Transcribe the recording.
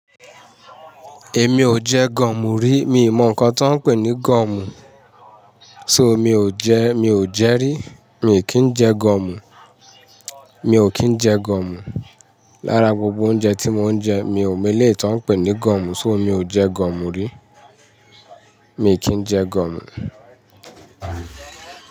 Èmi ò jẹ gomu rí. Mi ò mọ̀ nǹkan tó ń pè ní gomu. So mi ò jẹ, mi ò jẹ rí. Mi ò kí ń jẹ gomu. Mi ò kí ń jẹ gomu. Lára gbogbo oúnjẹ tí mo ń jẹ, mi ò mélòó tí wọ́n ń pè ní gomu. So mi ò jẹ gomu rí. Mi ò kí ń jẹ gomu.